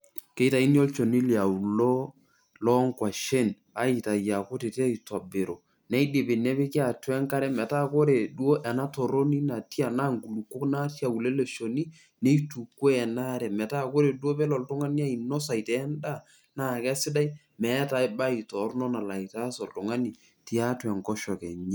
Keitauni olchoni liauluo lonkwashen aitobiru nepiki atua enkare metaa ore duo ena toroni natii atua ele shoni, nituku enaare metaa ore duo pelo oltungani ainosa endaa na kesidai meeta aai bae toronok nalo aitaas oltungani tiatua enkosheke .